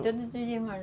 É, todos os irmãos.